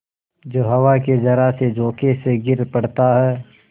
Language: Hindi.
जो हवा के जरासे झोंके से गिर पड़ता है